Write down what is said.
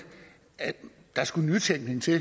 at der skulle nytænkning til